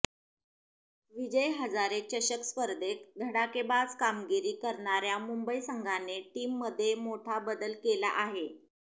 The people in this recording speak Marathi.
विजय हजारे चषक स्पर्धेत धडाकेबाज कामगिरी करणाऱ्या मुंबई संघाने टीममध्ये मोठा बदल केला आहे